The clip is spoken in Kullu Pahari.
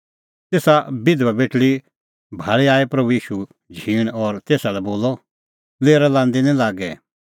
तेसा बिधबा भाल़ी आई प्रभू ईशू झींण और तेसा लै बोलअ लेरा लांदी निं लागे